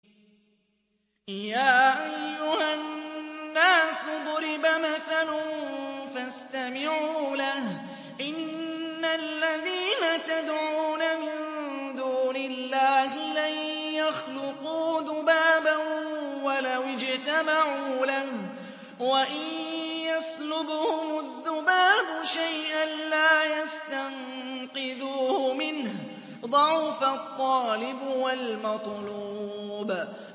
يَا أَيُّهَا النَّاسُ ضُرِبَ مَثَلٌ فَاسْتَمِعُوا لَهُ ۚ إِنَّ الَّذِينَ تَدْعُونَ مِن دُونِ اللَّهِ لَن يَخْلُقُوا ذُبَابًا وَلَوِ اجْتَمَعُوا لَهُ ۖ وَإِن يَسْلُبْهُمُ الذُّبَابُ شَيْئًا لَّا يَسْتَنقِذُوهُ مِنْهُ ۚ ضَعُفَ الطَّالِبُ وَالْمَطْلُوبُ